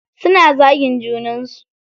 Suna zagin junan su.